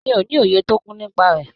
Mi o ni òye tó kún nípa rẹ.